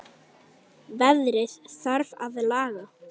Veðrið þarf að laga.